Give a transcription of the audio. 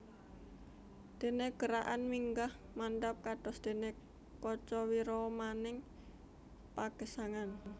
Dene gerakan minggah mandhap kados dene kaca wiramaning pagesangan